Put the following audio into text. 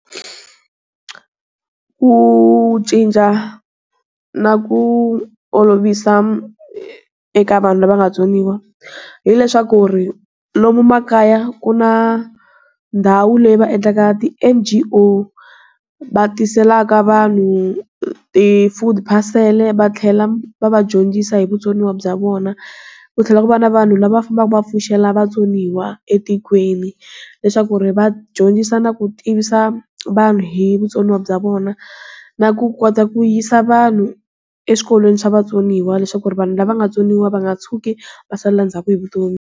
Ku cinca, na ku olovisa eka vanhu lava nga tsoniwa, hileswaku ri, lomu makaya ku na, ndhawu leyi va endlaka ti NGO. Va tiselaka vanhu ti food parcel, va tlhela va va dyondzisa hi vutsoniwa bya vona. Ku tlhela ku va na vanhu lava va fambaka va pfuxela vatsoniwa etikweni. Leswaku ri va dyondzisa na ku tivisa, vanhu hi vutsoniwa bya vona. Na ku kota ku yisa vanhu, eswikolweni swa vatsoniwa leswaku vanhu lava nga tsoniwa va nga tshuki va salela ndzhaku hi vutomi.